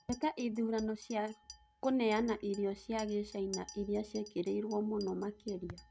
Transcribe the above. Gwetaĩthũrano cĩa kũneanaĩrĩo cĩa gĩchĩnaĩrĩa cĩĩkĩrĩĩrwo mũno makĩrĩa